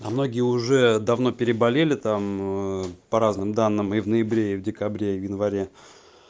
а многие уже давно переболели там ээ по разным данным и в ноябре и в декабре и в январе